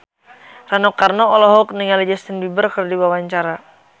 Rano Karno olohok ningali Justin Beiber keur diwawancara